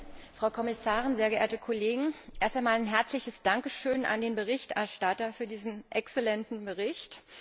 Herr Präsident, Frau Kommissarin, sehr geehrte Kollegen! Erst einmal ein herzliches Dankeschön an den Berichterstatter für diesen exzellenten Bericht.